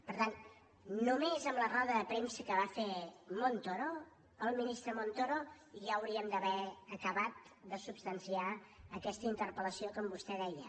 per tant només amb la roda de premsa que va fer montoro el ministre montoro ja hauríem d’haver acabat de substanciar aquesta interpel·lació com vostè deia